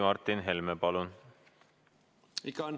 Martin Helme, palun!